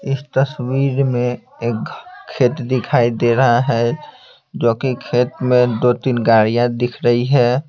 इस तस्वीर में एक खेत दिखाई दे रहा है जो कि खेत में दो-तीन गाड़ियाँ दिख रही है।